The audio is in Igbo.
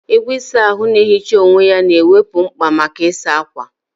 Igwe ịsa ahụ na-ehicha onwe ya ga-ewepụ mkpa maka ịsa ákwà.